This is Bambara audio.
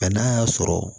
n'a y'a sɔrɔ